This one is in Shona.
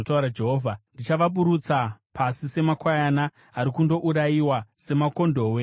“Ndichavaburutsa pasi semakwayana ari kundourayiwa, semakondobwe nembudzi.